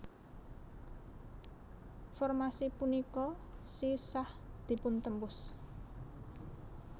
Formasi punika sisah dipun tembus